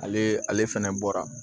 Ale ale fɛnɛ bɔra